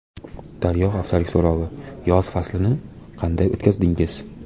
Daryo haftalik so‘rovi: Yoz faslini qanday o‘tkazdingiz?.